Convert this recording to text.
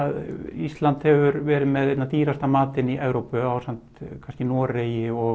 Ísland hefur verið með einna dýrasta matinn í Evrópu ásamt kannski Noregi og